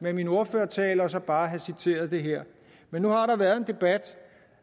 med min ordførertale og så bare have citeret det her men nu har der været en debat